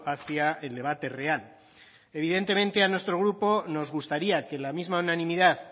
hacia el debate real evidentemente a nuestro grupo nos gustaría que la misma unanimidad